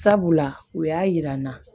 Sabula u y'a yira n na